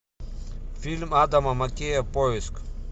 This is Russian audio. фильм адама маккея поиск